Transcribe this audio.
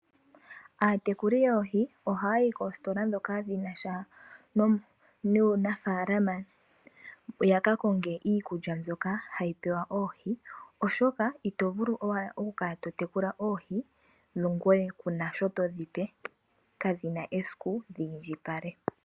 Aatekuli yoohi oha ya yi koositola ndhoka dhinasha nuunafaalama, yakakonge iikulya mbyoka hayi pewa oohi oshoka ito vulu owala oku kala totekula oohi ngoye kuuna sho todhipe, kadhina esiku dhi indjipale.